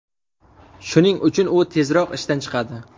Shuning uchun u tezroq ishdan chiqadi.